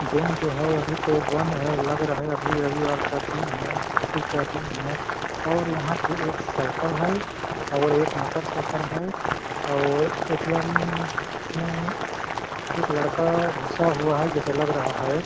Bank जो है अभी तो बंद है लग रहा है अभी रविवार का दिन है छुट्टी का दिन है और यहा पे एक साइकिल है और एक मोटरसाइकिल है और ए.टी.एम. में एक लड़का घुसा हुआ है जैसे लग रहा हैं ।